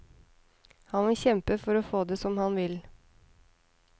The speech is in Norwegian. Han vil kjempe for å få det som han vil.